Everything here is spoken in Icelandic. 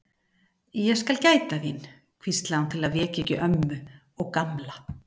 Ég skal gæta þín, hvíslaði hún til að vekja ekki ömmu og Gamla.